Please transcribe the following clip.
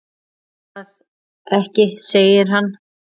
Ætli það ekki segir hann.